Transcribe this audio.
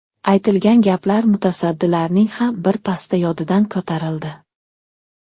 Aytilgan gaplar mutasaddilarning ham bir pasda yodidan ko‘tarildi.